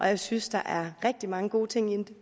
jeg synes der er rigtig mange gode ting